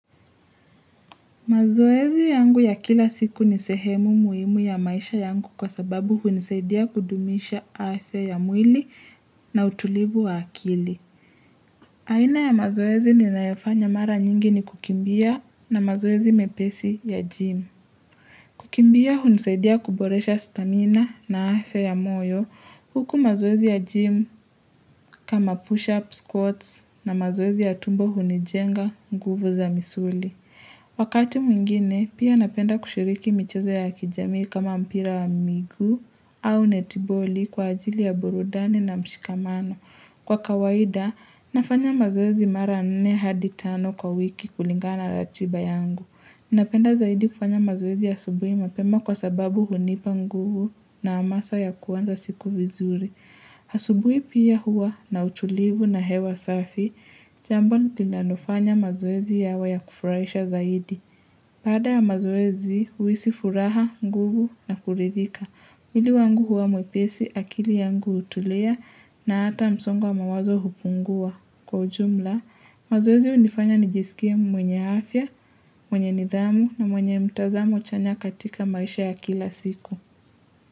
Mazoezi yangu ya kila siku ni sehemu muhimu ya maisha yangu kwa sababu hunisaidia kudumisha afya mwili na utulivu wa akili. Aina ya mazoezi ninayofanya mara nyingi ni kukimbia na mazoezi mepesi ya gym. Kukimbia hunisaidia kuboresha stamina na afya moyo huku mazoezi ya gym kama push-up squats na mazoezi ya tumbo hunijenga nguvu za misuli. Wakati mwingine, pia napenda kushiriki michezo ya kijamii kama mpira wa miguu au netiboli kwa ajili ya burudani na mshikamano. Kwa kawaida, nafanya mazoezi mara nne hadi tano kwa wiki kulingana na ratiba yangu. Napenda zaidi kufanya mazoezi asubuhi mapema kwa sababu hunipa nguvu na hamasa ya kuanza siku vizuri. Asubuhi pia huwa na utulivu na hewa safi, jambo linalofanya mazoezi yawe ya kufurahisha zaidi. Baada ya mazoezi, huhisi furaha, nguvu na kuridhika. Mwili wangu huwa mwepesi akili yangu hutulia na hata msongo wa mawazo hupungua. Kwa ujumla, mazoezi hunifanya nijisikie mwenye afya, mwenye nidhamu na mwenye mtazamo chanya katika maisha ya kila siku.